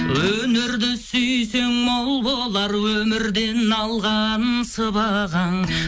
өнерді сүйсең мол болар өмірден алған сыбағаң